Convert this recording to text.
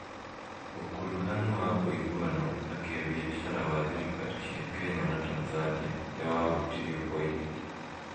ũkuruhanu wa ũiguano na kĩĩbiacara wa thirikari cia Kenya na Tanzania nĩ wahutirio kwa ihinda